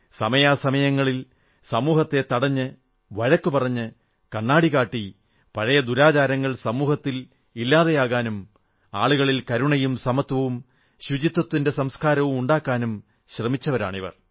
സമയാസമയങ്ങളിൽ സമൂഹത്തെ തടഞ്ഞ് വഴക്കു പറഞ്ഞ് കണ്ണാടി കാട്ടി പഴയ ദുരാചാരങ്ങൾ സമൂഹത്തിൽ ഇല്ലാതെയാകാനും ആളുകളിൽ കരുണയും സമത്വവും ശുചിത്വത്തിന്റെ സംസ്കാരവുമുണ്ടാക്കാനും ശ്രമിച്ചവരാണിവർ